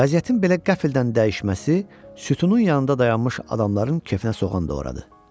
Vəziyyətin belə qəflətdən dəyişməsi sütunun yanında dayanmış adamların kefinə soğan doğradı.